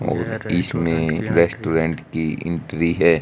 और इसमें रेस्टोरेंट की एंट्री है।